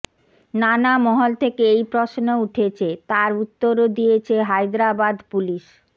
নানা মহল থেকে এই প্রশ্ন উঠেছে তার উত্তরও দিয়েছে হায়দরাবাদ পুলিশ